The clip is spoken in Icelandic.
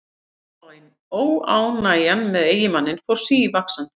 Óánægjan með eiginmanninn fór stigvaxandi.